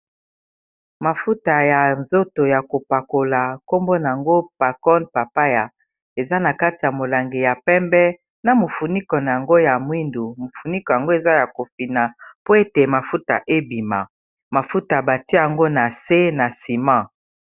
mafuta ya nzoto ya kopakola nkombona yango pacon papaya eza na kati ya molange ya pembe na mofuniko na yango ya mwindu mofuniko yango eza ya kofina po ete mafuta ebima mafuta batia yango na se na sima